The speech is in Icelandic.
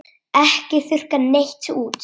Ekki þurrka neitt út.